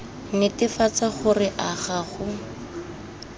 netefatsa gore a ga go